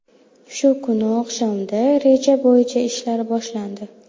Shu kuni oqshomda reja bo‘yicha ishlar boshlandi.